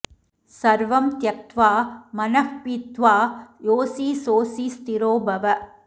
सर्वं त्यक्त्वा मनः पीत्वा योऽसि सोऽसि स्थिरो भव